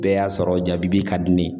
Bɛɛ y'a sɔrɔ jabibi ka di ne ye.